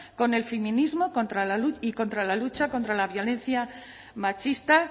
con el feminismo y contra la lucha contra la violencia machista